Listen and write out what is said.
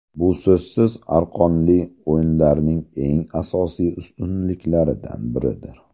Bu so‘zsiz argonli oynalarning eng asosiy ustunliklaridan biridir.